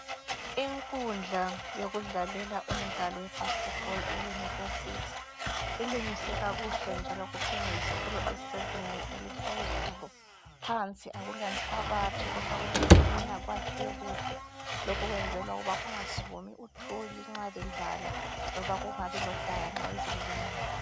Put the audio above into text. Inkundla yokudlalela umdlalo we basketball eyunivesithi. Ilungiswe kakuhle njalo kukhanya yisikolo esisezingeni eliphezulu. Phansi akulazitina kodwa kwakhiwe kuhle. Lokhu kwenzelwa ukuba kungasukumi thuli nxa bedlala loba kungabi lodaka nxa izulu lingana.